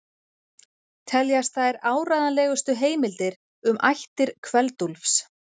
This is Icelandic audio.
Teljast þær áreiðanlegustu heimildir um ættir Kveld-Úlfs.